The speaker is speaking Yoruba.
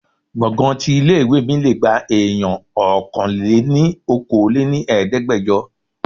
Gbọ̀ngán tí ilé ìwé mi lé gba èèyàn Ọkàn-lé-ní-okòó lé ní Ẹ̀ẹ́dẹ́gbẹjọ.